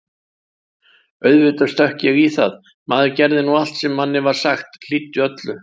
Auðvitað stökk ég í það, maður gerði nú allt sem manni var sagt, hlýddi öllu.